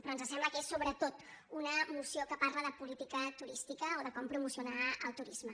però ens sembla que és sobretot una moció que parla de política turística o de com promocionar el turisme